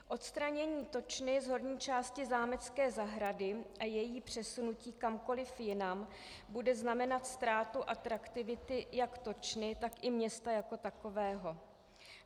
Odstranění točny z horní části zámecké zahrady a její přesunutí kamkoliv jinam bude znamenat ztrátu atraktivity jak točny, tak i města jako takového.